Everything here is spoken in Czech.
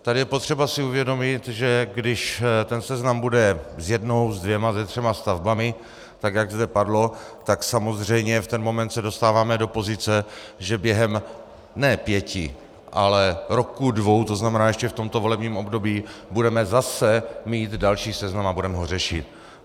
Tady je potřeba si uvědomit, že když ten seznam bude s jednou, se dvěma, se třemi stavbami, tak jak zde padlo, tak samozřejmě v ten moment se dostáváme do pozice, že během ne pěti, ale roků dvou, to znamená ještě v tomto volebním období, budeme zase mít další seznam a budeme ho řešit.